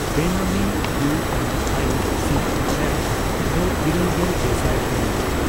ᱵᱮᱱᱟᱢᱤ U N I C E F ᱫᱚ ᱤᱨᱟᱹᱞᱜᱮᱞ ᱜᱮᱥᱟᱭ ᱯᱚᱨᱤᱢᱟᱱ?